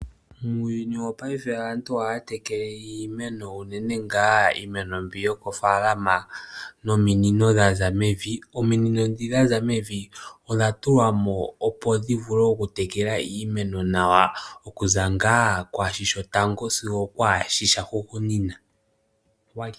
Muuyuni wopayife aantu ohaya tekele iimeno, unene ngaa iimeno mbyok ayomoofaalama nominino dha za mevi. Ominino ndhoka dha za mevi odha tulwa mo, opo dhi vule okutekela iimeno nawa okuza ngaa kwaa shi shotango sigo okwaa shi sha hugunina.